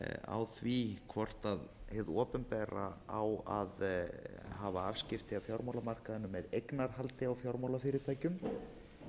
á því hvort hið opinbera á að hafa afskipti af fjármálamarkaðinum með eignarhaldi á